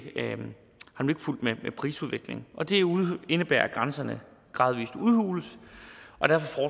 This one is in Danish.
fulgt med prisudviklingen og det indebærer at grænserne gradvis udhules og derfor